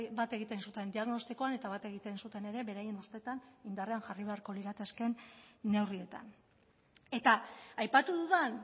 bat egiten zuten diagnostikoan eta bat egiten zuten ere beraien ustetan indarrean jarri beharko liratekeen neurrietan eta aipatu dudan